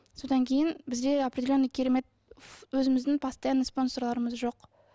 содан кейін бізде определенный керемет өзіміздің постоянный спонсорларымыз жоқ